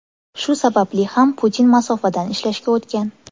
Shu sababli ham Putin masofadan ishlashga o‘tgan.